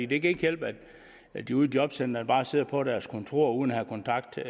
det kan ikke hjælpe at de ude i jobcentrene bare sidder på deres kontor uden at have kontakt til